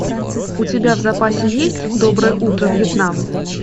у тебя в запасе есть доброе утро вьетнам